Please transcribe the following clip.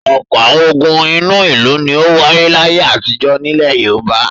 Ọ̀pọ̀ àwọn ogun inú ìlú ni ó wáyé láyé àtijọ́ nílẹ̀ Yorùbá.